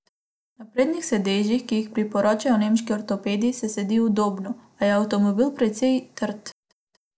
Na prednjih sedežih, ki jih priporočajo nemški ortopedi, se sedi udobno, a je avtomobil precej trd.